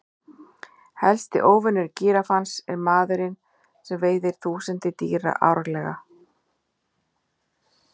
Helsti óvinur gíraffans er maðurinn sem veiðir þúsundir dýra árlega.